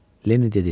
Lenni dedi.